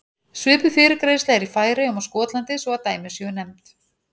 Svipuð fyrirgreiðsla er í Færeyjum og Skotlandi svo að dæmi séu nefnd.